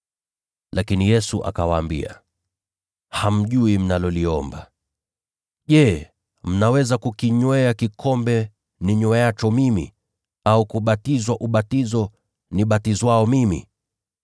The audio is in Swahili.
Lakini Yesu akawaambia, “Ninyi hamjui mnaloliomba. Je, mnaweza kukinywea kikombe ninyweacho mimi, au kubatizwa ubatizo nibatizwao mimi?”